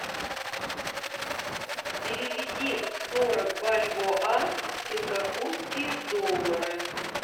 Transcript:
переведи сорок бальбоа в сингапурские доллары